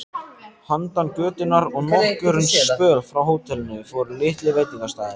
Handan götunnar og nokkurn spöl frá hótelinu voru litlir veitingastaðir.